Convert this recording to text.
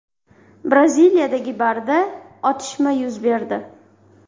Braziliyadagi barda otishma yuz berdi.